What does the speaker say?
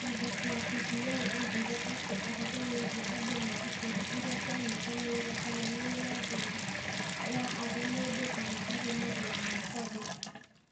Mwandĩki wa BBI oigire atĩ ũhoro wĩgiĩ andũ na ikundi iria cianyitanĩire kana nĩ na njĩra ya arĩ mũndũ kana arĩ marũa ma kwandĩka ,